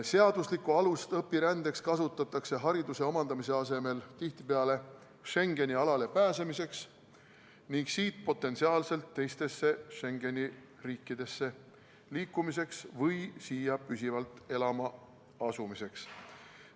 Seaduslikku alust õpirändeks kasutatakse hariduse omandamise asemel tihtipeale Schengeni alale pääsemiseks ning siit potentsiaalselt teistesse Schengeni riikidesse liikumiseks või siia püsivalt elama asumiseks.